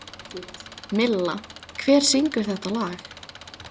Milla, hver syngur þetta lag?